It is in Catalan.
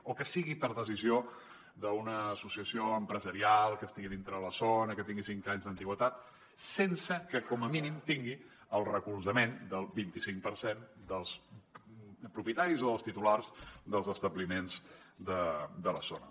o que sigui per decisió d’una associació empresarial que estigui dintre la zona que tingui cinc anys d’antiguitat sense que com a mínim tingui el recolzament del vint cinc per cent dels propietaris o dels titulars dels establiments de la zona